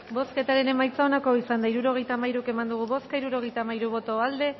bozketaren emaitza onako izan da hirurogeita hamairu eman dugu bozka hirurogeita hamairu boto aldekoa